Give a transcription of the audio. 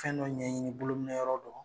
Fɛn dɔ ɲɛɲini bolo minɛyɔrɔ dɔ